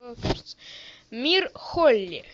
мир холли